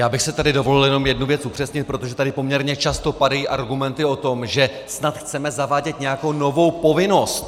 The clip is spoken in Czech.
Já bych si tady dovolil jenom jednu věc upřesnit, protože tady poměrně často padají argumenty o tom, že snad chceme zavádět nějakou novou povinnost.